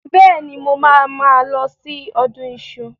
Bẹ́ẹ̀ni, mo máa mo máa lọ sí ọdún iṣu.